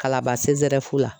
Kalaban la.